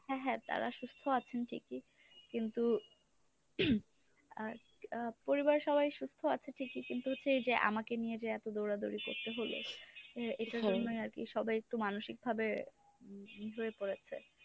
হ্যাঁ হ্যাঁ তারা সুস্থ আছেন ঠিকই কিন্তু আর আহ পরিবার সবাই সুস্থ আছে ঠিকই কিন্তু এইযে আমাকে নিয়ে যে এত দৌড়াদৌড়ি করতে হল এ এটার জন্যই আরকি সবাই একটু মানসিকভাবে হয়ে পরেছে।